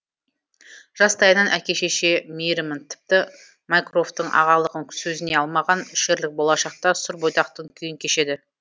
жастайынан әке шеше мейірімін тіпті майкрофтың ағалығын сезіне алмаған шерлок болашақта сұр бойдақтың күйін кешеді